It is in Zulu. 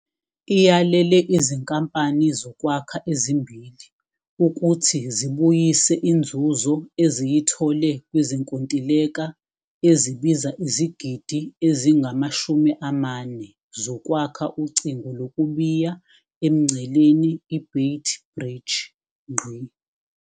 Iyalele izinkampani zokwakha ezimbili ukuthi zibuyise inzuzo eziyithole kwizinkontileka ezibiza izigidi ezingama-R40 zokwakha ucingo lokubiya emngceleni i-Beit Bridge.